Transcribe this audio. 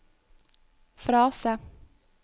frase